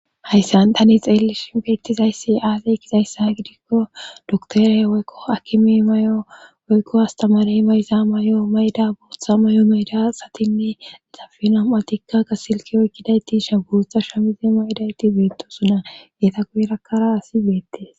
hayssan tani xeellish beettizayssi aazey kizayssa gidikko doktore woykko akimi may7o woykko astamari mayza mayo mayda booththa may7o mayda satinnedixafina7atikka ga silki oykkidayti sha gurtha shamize maydayti beettosuna geeta guerakkara asi beettes